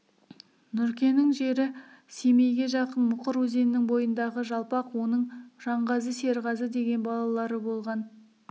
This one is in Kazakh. нұркенің жері семейге жақын мұқыр өзенінің бойындағы жалпақ оның жанғазы серғазы деген балалары болған